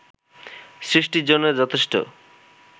সৃষ্টির জন্য যথেষ্ট